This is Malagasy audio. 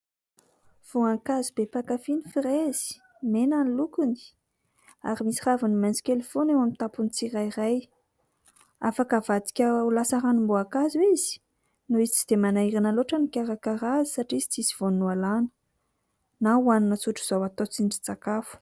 Voankazo be mpankafy ny frezy. Mena ny lokony ary misy raviny maitso kely foana eo amin'ny tampon'ny tsirairay. Afaka avadika ho lasa ranomboankazo izy noho izy tsy dia manahirana loatra ny mikarakara azy satria izy tsisy voaniny ho alàna ; na hohanina tsotr'izao atao tsindrintsakafo.